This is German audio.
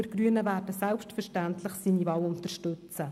Wir Grünen werden selbstverständlich seine Wahl unterstützen.